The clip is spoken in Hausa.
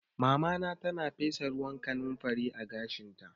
Mamana tana fesa ruwan kanumfari a gashinta